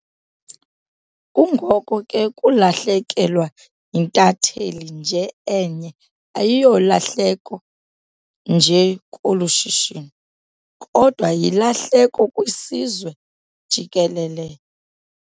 Kungoko ke ukulahlekelwa yintatheli nje enye asiyolahleko nje kolu shishino kodwa yilahleko kwisizwe jikelele.